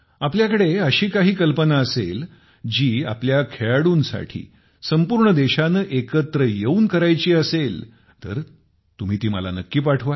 आपल्याकडे अशी काही कल्पना असेल जी आपल्या खेळाडूंसाठी संपूर्ण देशाने एकत्र येऊन करायाची असेल तर तुम्ही ती मला नक्की पाठवा